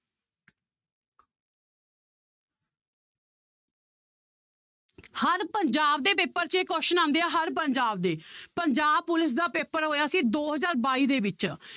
ਹਰ ਪੰਜਾਬ ਦੇ ਪੇਪਰ 'ਚ ਇਹ question ਆਉਂਦੇ ਹਰ ਪੰਜਾਬ ਦੇ ਪੰਜਾਬ ਪੁਲਿਸ ਦਾ ਪੇਪਰ ਹੋਇਆ ਸੀ ਦੋ ਹਜ਼ਾਰ ਬਾਈ ਦੇ ਵਿੱਚ